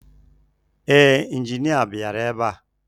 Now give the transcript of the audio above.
Ee, injinia bịara ebe a